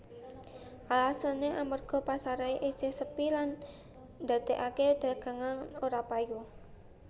Alesané amérga pasaré isih sepi lan ndadèkaké dagangan ora payu